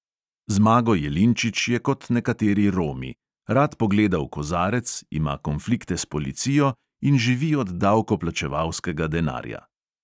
Zmago jelinčič je kot nekateri romi: rad pogleda v kozarec, ima konflikte s policijo in živi od davkoplačevalskega denarja.